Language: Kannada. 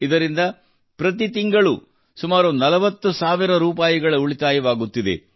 ಇದರಿಂದ ಪ್ರತಿ ತಿಂಗಳೂ ಸುಮಾರು 40ಸಾವಿರ ರೂಪಾಯಿ ಉಳಿತಾಯವಾಗುತ್ತಿದೆ